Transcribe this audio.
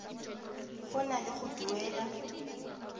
go na le go duela